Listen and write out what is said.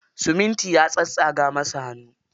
Siminti ya tsatstsaga masa hannu.